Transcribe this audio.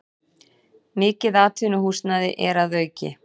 Mikið atvinnuhúsnæði er að auki